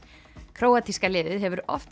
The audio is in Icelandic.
króatíska liðið hefur oft